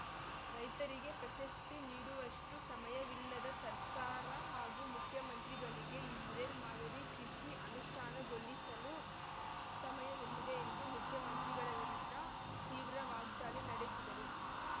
ರೈತರಿಗೆ ಪ್ರಶಸ್ತಿ ನೀಡುವಷ್ಟು ಸಮಯವಿಲ್ಲದ ಸರ್ಕಾರ ಹಾಗೂ ಮುಖ್ಯಮಂತ್ರಿಗಳಿಗೆ ಇಸ್ರೇಲ್ ಮಾದರಿ ಕೃಷಿ ಅನುಷ್ಠಾನಗೊಳಿಸಲು ಸಮಯವೆಲ್ಲಿದೆ ಎಂದು ಮುಖ್ಯಮಂತ್ರಿಗಳ ವಿರುದ್ಧ ತೀವ್ರ ವಾಗ್ದಾಳಿ ನಡೆಸಿದರು